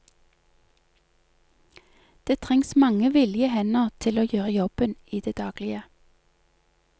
Det trengs mange villige hender til å gjøre jobben i det daglige.